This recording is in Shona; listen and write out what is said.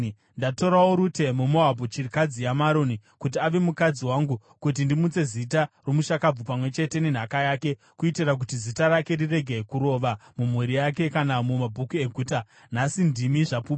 Ndatorawo Rute muMoabhu, chirikadzi yaMaroni, kuti ave mukadzi wangu kuti ndimutse zita romushakabvu pamwe chete nenhaka yake, kuitira kuti zita rake rirege kurova mumhuri yake kana mumabhuku eguta. Nhasi ndimi zvapupu!”